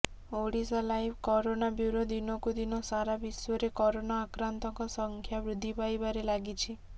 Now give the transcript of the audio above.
Odisha live corona bureau ଦିନକୁ ଦିନ ସାରା ବିଶ୍ୱରେ କରୋନା ଆକ୍ରାନ୍ତଙ୍କ ସଂଖ୍ୟା ବୃଦ୍ଧି ପାଇବାରେ ଲାଗିଛି